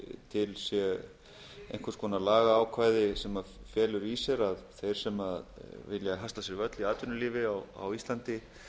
sé einhvers konar lagaákvæði sem felur í sér að þeir sem vilja hasla sér völl í atvinnulífi á íslandi